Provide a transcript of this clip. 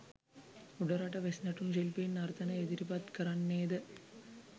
උඩරට වෙස් නැටුම් ශිල්පීන් නර්තන ඉදිරිපත් කරන්නේ ද